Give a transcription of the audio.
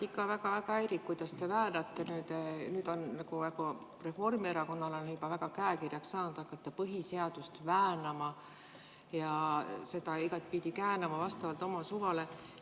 Mind ikka väga-väga häirib, kuidas te olete nüüd hakanud, nagu on Reformierakonnal juba väga käekirjaks saanud põhiseadust väänama ja seda igatpidi käänama vastavalt oma suvale.